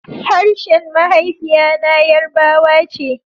Harshen mahaifiya na yarbawa ce